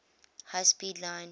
high speed line